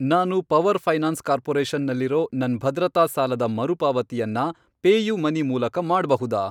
ನಾನು Power Finance Corporation ನಲ್ಲಿರೋ ನನ್ ಭದ್ರತಾ ಸಾಲದ ಮರುಪಾವತಿಯನ್ನ ಪೇಯುಮನಿ ಮೂಲಕ ಮಾಡ್ಬಹುದಾ?